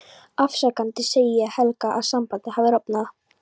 Afsakandi segi ég Helga að sambandið hafi rofnað.